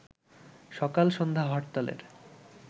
সকাল-সন্ধ্যা হরতালের